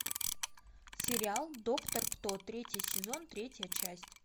сериал доктор кто третий сезон третья часть